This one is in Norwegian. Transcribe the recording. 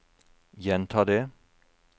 gjenta det